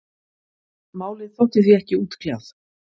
Málið þótti því ekki útkljáð.